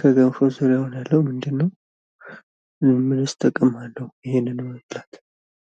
ከገንፎ ስር የሆነ ያለው ምንድነው? ምንስ ጥቅም አለው? ይህንን መብላት።